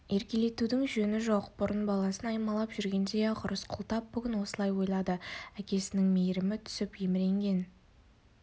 еркелетудің жөні жоқ бұрын баласын аймалап жүргендей-ақ рысқұл тап бүгін осылай ойлады әкесінің мейірімі түсіп еміренген